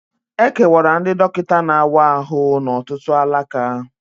E kewara ndị dọkịta na-awa ahụ n'ọtụtụ alaka